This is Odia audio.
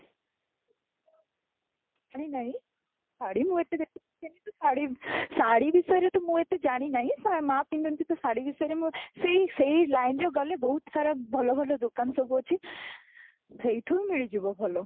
ଜାଣି ନାହିଁ, ଶାଢ଼ୀ ମୁଁ ଏତେ ବେଶୀ ପିନ୍ଧେନି ତ ଶାଢ଼ୀ ଶାଢ଼ୀ ବିଷୟରେ ତ ମୁଁ ଏତେ ଜାଣି ନାହିଁ ତ ମୋ ମା ପିନ୍ଧନ୍ତି ତ ଶାଢ଼ୀ ବିଷୟରେ ମୁଁ ସେଇ ସେଇ line ରେ ଗଲେ ବହୁତ ସାରା ଭଲ ଭଲ ଦୋକାନ ସବୁ ଅଛି ସେଉଠୁ ମିଳିଯିବ ଭଲ